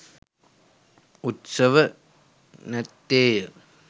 උත්සව නැත්තේය.